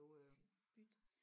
Sikkert bytte